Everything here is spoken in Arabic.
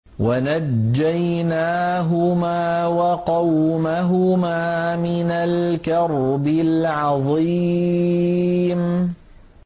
وَنَجَّيْنَاهُمَا وَقَوْمَهُمَا مِنَ الْكَرْبِ الْعَظِيمِ